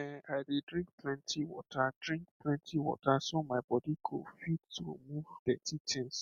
ehn i dey drink plenty water drink plenty water so my body go fit remove dirty things